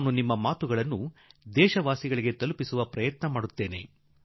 ನಾನು ನಿಮ್ಮ ವಿಚಾರಗಳನ್ನು ದೇಶದ ಜನತೆಗೆ ತಲುಪಿಸಬಯಸುವೆ